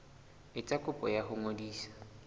etsa kopo ya ho ngodisa